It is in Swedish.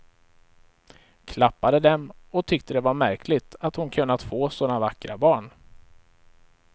Klappade dem, och tyckte det var märkligt att hon kunnat få sådana vackra barn.